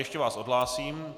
Ještě vás odhlásím.